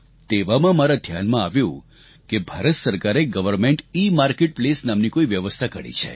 તેવામાં મારા ધ્યાનમાં આવ્યું કે ભારત સરકારે સર્વમેન્ટ ઇમાર્કેટપ્લેસ નામની કોઈ વ્યવસ્થા ઘડી છે